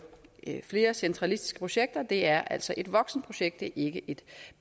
flere centralistiske projekter er altså et voksenprojekt det er ikke et